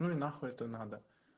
ну и нахуй это надо